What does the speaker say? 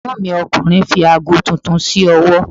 Ègbón mi ọkùnrin fi aago titun s'ówọ́